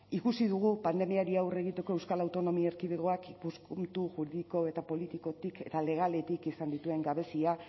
ikusi dugu pandemiari aurre egiteko euskal autonomia erkidegoak ikuspuntu juridiko eta politikotik eta legaletik izan dituen gabezia